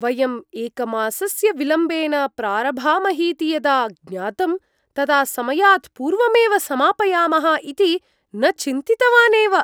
वयं एकमासस्य विलम्बेन प्रारभामहीति यदा ज्ञातं, तदा समयात् पूर्वमेव समापयामः इति न चिन्तितवानेव।